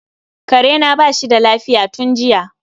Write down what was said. karena bashi da lafiya tun jiya.